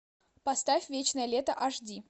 поставь вечное лето аш ди